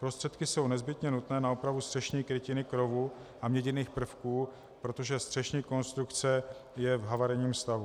Prostředky jsou nezbytně nutné na opravu střešní krytiny krovu a měděných prvků, protože střešní konstrukce je v havarijním stavu.